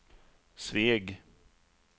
Sveg